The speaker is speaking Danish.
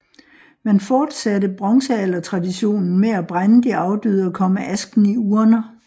Man fortsatte bronzealdertraditionen med at brænde de afdøde og komme asken i urner